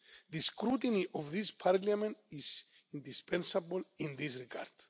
The scrutiny of this Parliament is indispensable in this regard.